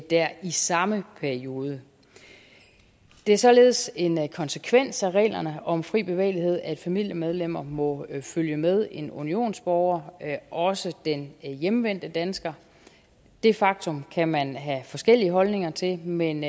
der i samme periode det er således en konsekvens af reglerne om fri bevægelighed at familiemedlemmer må følge med en unionsborger også den hjemvendte dansker det faktum kan man have forskellige holdninger til men